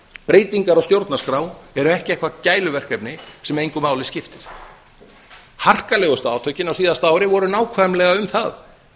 breytingar á stjórnarskrá eru ekki eitthvert gæluverkefni sem engu máli skiptir harkalegustu átökin á síðasta ári voru nákvæmlega um það